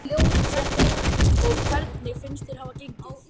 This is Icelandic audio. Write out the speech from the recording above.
Fréttamaður: Og hvernig finnst þér hafa gengið?